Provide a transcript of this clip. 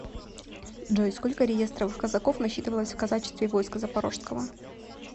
джой сколько реестровых казаков насчитывалось в казачестве войска запорожского